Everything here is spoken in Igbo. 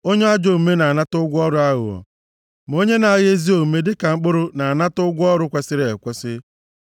Onye ajọ omume na-anata ụgwọ ọrụ aghụghọ, ma onye na-agha ezi omume dịka mkpụrụ na-anata ụgwọ ọrụ kwesiri ekwesi.